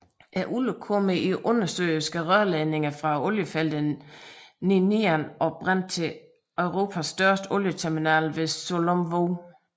Olien kommer i undersøiske rørledninger fra oliefelterne Ninian og Brent til Europas største olieterminal ved Sullom Voe